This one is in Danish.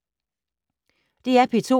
DR P2